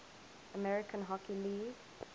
american hockey league